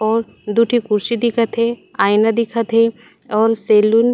और दू ठी कुर्सी दिखत हे आईना दिखत हे और सलून --